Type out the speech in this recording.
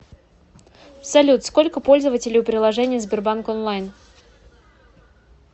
салют сколько пользователей у приложения сбербанк онлайн